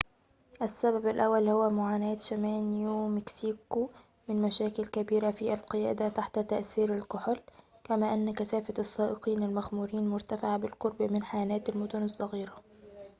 السبب الأول هو معاناة شمال نيو مكسيكو من مشاكل كبيرة في القيادة تحت تأثير الكحول كما أن كثافة السائقين المخمورين مرتفعة بالقرب من حانات المدن الصغيرة